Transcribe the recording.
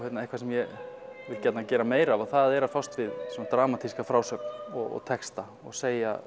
eitthvað sem ég vil gjarnan gera meira af og það er að fást við svona dramatíska frásögn og texta og segja